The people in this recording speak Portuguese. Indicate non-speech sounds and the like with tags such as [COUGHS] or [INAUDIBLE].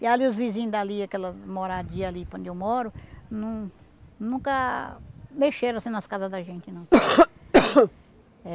E ali os vizinhos dali, aquela moradia ali para onde eu moro, nun nunca mexeram assim nas casas da gente, não. [COUGHS]